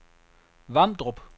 Vamdrup